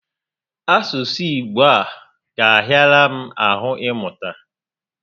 Asụsụ Igbo a ga ahịara m ahụ ị mụta?